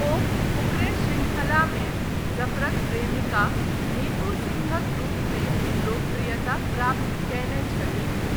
ओ फुकरे शृंखलामे जफरक प्रेमिका नीतू सिंहक रूपमे लोकप्रियता प्राप्त कयने छलीह।